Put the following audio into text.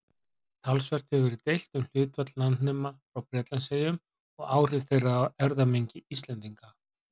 Talsvert hefur verið deilt um hlutfall landnema frá Bretlandseyjum og áhrif þeirra á erfðamengi Íslendinga.